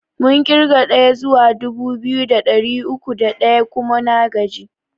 Mun ƙirga ɗaya zuwa dubu biyu da ɗari uku da ɗaya kuma na gaji.